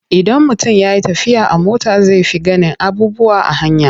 Idan mutum ya yi tafiya a mota zai fi ganin abubuwa a hanya.